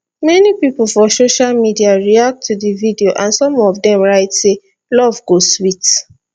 many pipo for social media react to di video and some of dem write say love go sweet